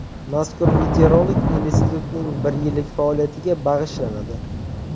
Mazkur videorolik institutning bir yillik faoliyatiga bag‘ishlanadi.